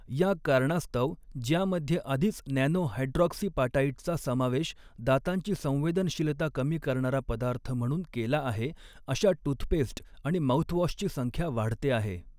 या कारणास्तव ज्यामध्ये आधीच नॅनो हायड्रॉक्सीपाटाइटचा समावेश दातांची संवेदनशीलता कमी करणारा पदार्थ म्हणून केला आहे, अशा टूथपेस्ट आणि माउथवॉशची संख्या वाढते आहे.